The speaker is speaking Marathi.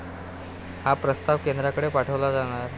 हा प्रस्ताव केंद्राकडे पाठवला जाणार